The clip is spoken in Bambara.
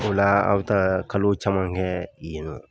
O la aw bɛ taa kalo caman kɛ yen nɔ.